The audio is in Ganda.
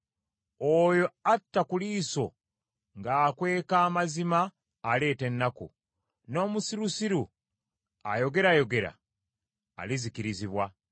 Oyo atta ku liiso ng’akweka amazima aleeta ennaku, n’omusirusiru ayogerayogera alizikirizibwa.